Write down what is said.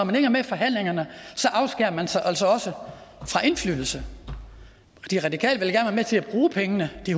man ikke er med i forhandlingerne afskærer man sig altså også fra indflydelse de radikale vil gerne til at bruge pengene de